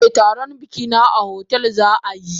Eh taron bikina a hotel zaayi.